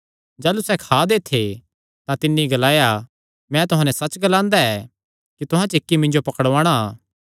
जाह़लू सैह़ खा दे थे तां तिन्नी ग्लाया मैं तुहां नैं सच्च ग्लांदा ऐ कि तुहां च इक्की मिन्जो पकड़ुआंणा